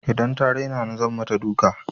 Idan ta raina ni zan mata duka.